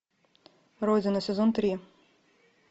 родина сезон три